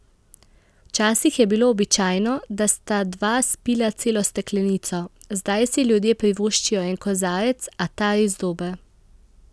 Včasih je bilo običajno, da sta dva spila celo steklenico, zdaj si ljudje privoščijo en kozarec, a ta res dober.